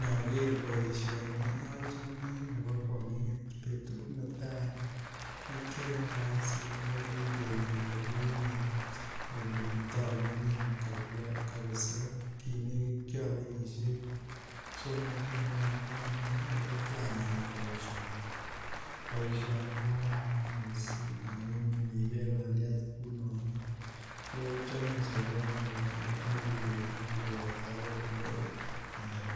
Niger poishoni achome nepo kwonget betut netai nekiayae kasini ko kikeny olekinye olekitamining kabisa kilekit kiai kenyishek somok angwan yono ole kianam boisioni. Boisioni ko kararan mising amu nipel pandiat Kunon ko chome sobondo ak muguleldo koboto akot